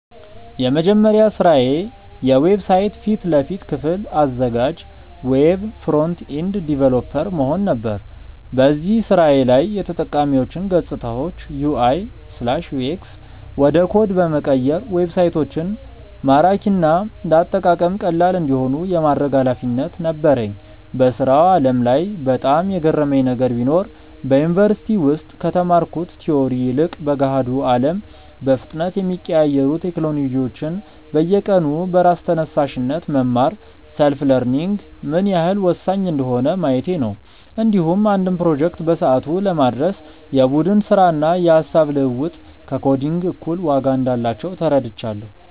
የመጀመሪያ ስራዬ የዌብሳይት ፊት ለፊት ክፍል አዘጋጅ (Web Front-End Developer) መሆን ነበር። በዚህ ስራዬ ላይ የተጠቃሚዎችን ገፅታዎች (UI/UX) ወደ ኮድ በመቀየር ዌብሳይቶች ማራኪና ለአጠቃቀም ቀላል እንዲሆኑ የማድረግ ኃላፊነት ነበረኝ። በስራው ዓለም ላይ በጣም የገረመኝ ነገር ቢኖር፣ በዩኒቨርሲቲ ውስጥ ከተማርኩት ቲዎሪ ይልቅ በገሃዱ አለም በፍጥነት የሚቀያየሩ ቴክኖሎጂዎችን በየቀኑ በራስ ተነሳሽነት መማር (Self-learning) ምን ያህል ወሳኝ እንደሆነ ማየቴ ነው። እንዲሁም አንድን ፕሮጀክት በሰዓቱ ለማድረስ የቡድን ስራና የሃሳብ ልውውጥ ከኮዲንግ እኩል ዋጋ እንዳላቸው ተረድቻለሁ።